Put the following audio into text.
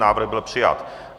Návrh byl přijat.